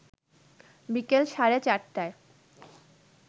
বিকেল সাড়ে ৪টায়